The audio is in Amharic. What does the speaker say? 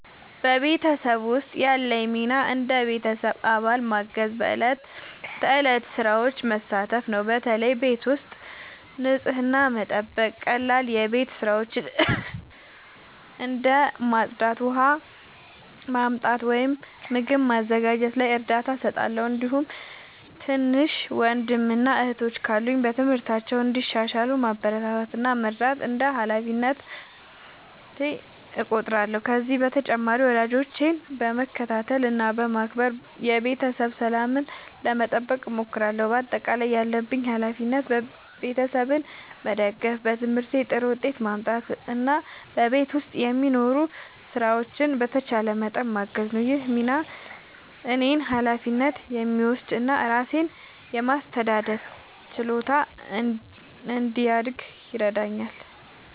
በቤተሰቤ ውስጥ ያለኝ ሚና እንደ ቤተሰብ አባል ማገዝና በዕለት ተዕለት ሥራዎች መሳተፍ ነው። በተለይ ቤት ውስጥ ንጽህናን መጠበቅ፣ ቀላል የቤት ሥራዎችን እንደ ማጽዳት፣ ውሃ ማመጣት ወይም ምግብ ማዘጋጀት ላይ እርዳታ እሰጣለሁ። እንዲሁም ትናንሽ ወንድሞችና እህቶች ካሉ በትምህርታቸው እንዲሻሻሉ ማበረታታት እና መርዳት እንደ ሃላፊነቴ እቆጥራለሁ። ከዚህ በተጨማሪ ወላጆቼን በመከታተል እና በማክበር የቤተሰብ ሰላምን ለመጠበቅ እሞክራለሁ። በአጠቃላይ ያለብኝ ሃላፊነት ቤተሰቤን መደገፍ፣ በትምህርቴ ጥሩ ውጤት ማምጣት እና በቤት ውስጥ የሚኖሩ ሥራዎችን በተቻለኝ መጠን ማገዝ ነው። ይህ ሚና እኔን ኃላፊነት የሚወስድ እና ራሴን የማስተዳደር ችሎታ እንዲያድግ ይረዳኛል።